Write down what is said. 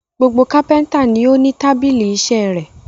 Gbogbo kápẹ́ńtà ni ó ní tábìlì iṣẹ́ rẹ̀.